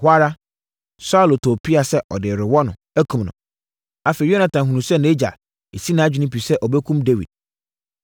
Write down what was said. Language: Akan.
Ɛhɔ ara, Saulo too pea sɛ ɔde rewɔ no, akum no. Afei Yonatan hunuu sɛ nʼagya asi nʼadwene pi sɛ ɔbɛkum Dawid.